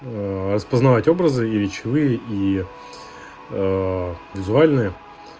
ээ распознавать образы и речевые и ээ визуальные